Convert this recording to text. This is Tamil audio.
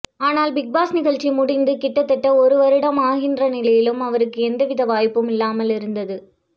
ஆனால் பிக்பாஸ் நிகழ்ச்சி முடிந்து கிட்டத்தட்ட ஒரு வருடம் ஆகின்ற நிலையிலும் அவருக்கு எந்தவித வாய்ப்பும் இல்லாமல் இருந்தது